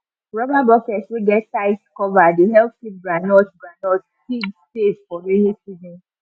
rubber bucket wey get tight cover dey help keep groundnut groundnut seed safe for rainy season